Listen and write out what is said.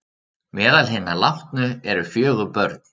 Meðal hinna látnu eru fjögur börn